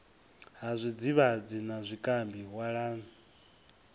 ha zwidzivhadzi na zwikambi walani